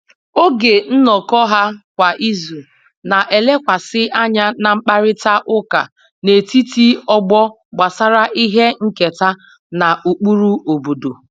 Oge nnọkọ ha kwa izu na-elekwasị anya na mkparịta ụka n'etiti ọgbọ gbasara ihe nketa na ụkpụrụ obodo